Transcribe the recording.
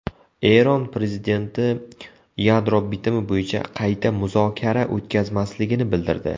Eron prezidenti yadro bitimi bo‘yicha qayta muzokara o‘tkazmasligini bildirdi.